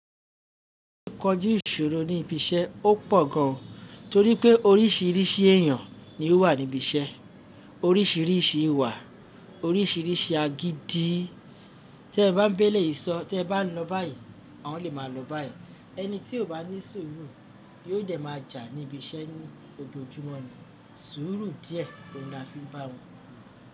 Kọju iṣòro ní ibi iṣẹ́ ò pọ̀ gan, torí pé oríṣiríṣi èèyàn ni ó wà níbi iṣẹ́, oríṣiríṣi ìwà, oríṣiríṣi agídí. Tí ẹ bá ń ba eléyìí sọ, tí ẹ bá ń lọ báyìí, àwọn lè máa lọ báyìí. Ẹni tí ò bá ní sùúrù yóò dẹ máa jà níbi iṣẹ́ ní ojojúmọ́ ni. Sùúrù díẹ̀ oun ni a fi ń bá wọn lo.